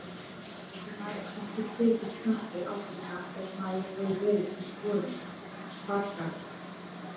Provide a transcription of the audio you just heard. Hefði maður ekki tekið snappið á þetta ef maður hefði verið í sporum Hvatar?